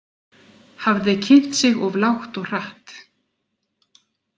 Hafði kynnt sig of lágt og hratt.